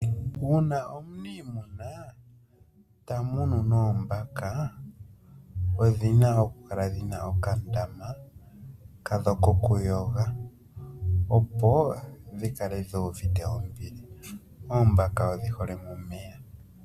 Uuna omuniimuna ta munu noombaka, odhi na okukala dhina okandama kadho kokuyoga opo dhi kale dhi uvite ombili. Oombaka odhi hole momeya.